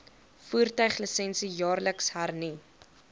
voertuiglisensie jaarliks hernu